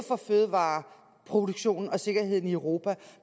for fødevareproduktionen og sikkerheden i europa